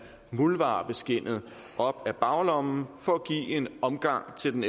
muldvarpeskindet op af baglommen for at give en omgang til den